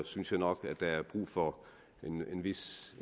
synes jeg nok at der er brug for en vis